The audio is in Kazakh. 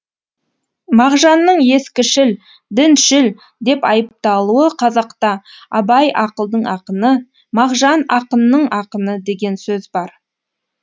мағжанның ескішіл діншіл деп айыпталуы қазақта абай ақылдың ақыны мағжан ақынның ақыны деген сөз бар